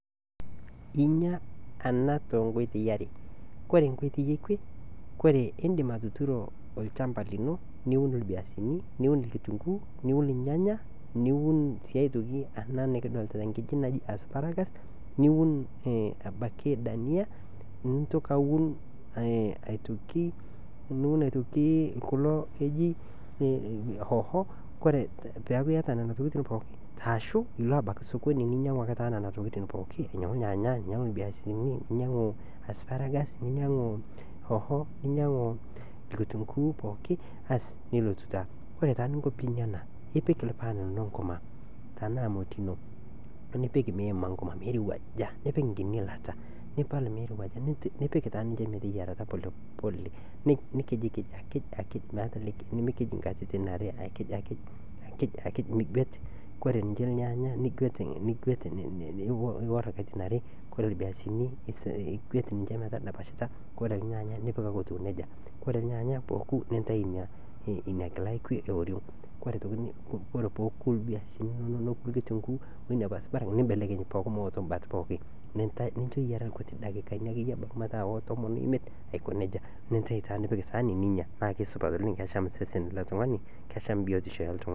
Inyia ena too nkuitoi are, ore enkuitoi ekwe ndim atuturo olchamba lino, niun iviazini, niun irnyanya niun rkituunguuni, niun daniya, niun ena nikiidoolta asparagas, niun abaiki irhoho ore piiun pookin arashu ilo ebaiki sokoni nilo ainyang'u abaiki nena tokitin pookin ainyang'u irnyanya oonkitunguu ninyang'u asparagas. ore taaninko naa ipik irpaan lino nkurma ashuu moti ino nipik nkiti ilata mirowuaja, nikij nikij nimikij ake katitin are iviazini nigwet metadapashita, ore irnyanya nigwet nintayu ina kila yooriong', nimbelekeny ninche eyiara rkuti dakikani, nincho metiyiarata basi nintayu taa anya. naa kesupati oleng amu kesham sesen lo ltung'ani.